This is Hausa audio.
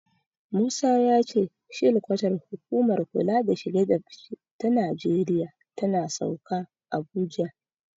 Musa ya ce shilkwatar hukumar kula da shige da fice ta Najeriya tana Sauka, Abuja.